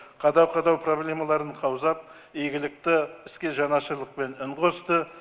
қадау қадау проблемаларын қаузап игілікті іске жанашырлықпен үн қосты